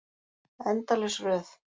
Endalaus röð.